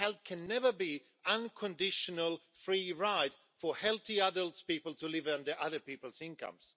Help can never be an unconditional free ride for healthy adult people to live off other people's incomes.